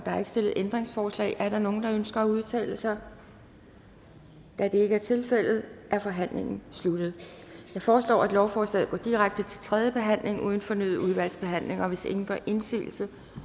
stillet ændringsforslag er der nogen der ønsker at udtale sig da det ikke er tilfældet er forhandlingen slut jeg forslår at lovforslaget går direkte til tredje behandling uden fornyet udvalgsbehandling hvis ingen gør indsigelse